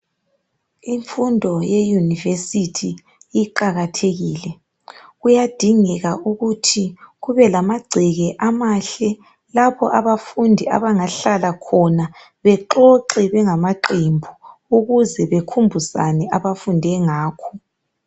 Imfundo ye university iqakathekile, kuyadingeka ukuthi kube lamagceke amahle lapho abafundi abangahlala khona bexoxe bengama qembu ukuze bekhumbuzane abafunde ngakho.